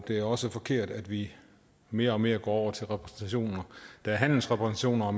det er også forkert at vi mere og mere går over til repræsentationer der er handelsrepræsentationer og